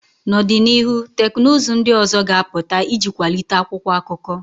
N'ọdịnihu, teknụzụ ndị ọzọ ga-apụta iji kwalite akwụkwọ akụkọ